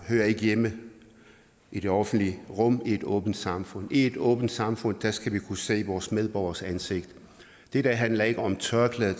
hører ikke hjemme i det offentlige rum i et åbent samfund i et åbent samfund skal vi kunne se vores medborgeres ansigt dette handler ikke om tørklæder